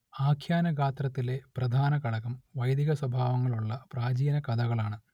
ആഖ്യാനഗാത്രത്തിലെ പ്രധാനഘടകം വൈദികസ്വഭാവങ്ങളുള്ള പ്രാചീനകഥകളാണ്